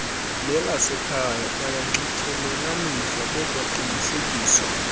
nelasekhaya bayanxityelelaniswa bekwaqinisekiswa